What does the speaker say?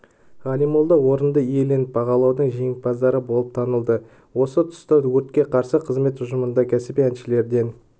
ғалимолда орынды иеленіп байқаудың жеңімпаздары болып танылды осы тұста өртке қарсы қызмет ұжымында кәсіби әншілерден